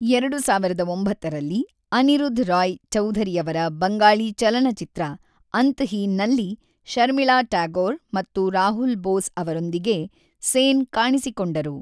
ಎರಡು ಸಾವಿರದ ಒಂಬತ್ತರಲ್ಲಿ, ಅನಿರುದ್ಧ್ ರಾಯ್ ಚೌಧರಿಯವರ ಬಂಗಾಳಿ ಚಲನಚಿತ್ರ ಅಂತಹೀನ್‌ನಲ್ಲಿ ಶರ್ಮಿಳಾ ಟ್ಯಾಗೋರ್ ಮತ್ತು ರಾಹುಲ್ ಬೋಸ್ ಅವರೊಂದಿಗೆ ಸೇನ್ ಕಾಣಿಸಿಕೊಂಡರು.